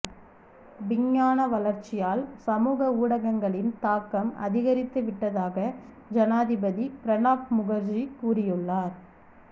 விஞ்ஞான வளர்ச்சியால் சமூக ஊடகங்களின் தாக்கம் அதிகரித்து விட்டதாக ஜனாதிபதி பிரணாப் முகர்ஜி கூறியுள்ளார்